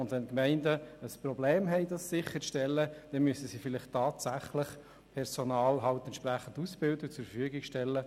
Wenn Gemeinden ein Problem haben, das sicherzustellen, dann müssen sie vielleicht tatsächlich Personal entsprechend ausbilden und zur Verfügung stellen.